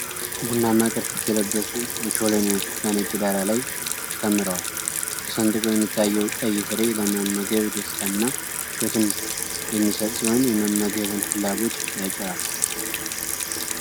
ቡናማ ቅርፊት የለበሱ ኦቾሎኒዎች በነጭ ዳራ ላይ ተከምረዋል። ተሰንጥቆ የሚታየው ቀይ ፍሬ ለመመገብ ደስታንና ምቾትን የሚሰጥ ሲሆን፣ የመመገብን ፍላጎት ይጭራል።